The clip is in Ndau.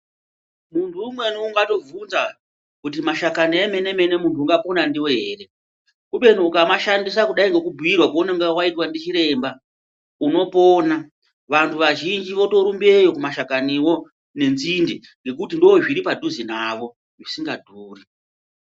Munhu umweni ungatovhunza kuti mashakani emene-mene muntu ungapona ndiwo here, kubeni ukamashandisa kudai ngekubhuirwa kwaunonga waitwa ndichiremba unopona. Vanhu vazhinji votorumbeyo kumashankaniwo nenzinde ngekuti ndoozviri padhuze navo, zvisingadhuri.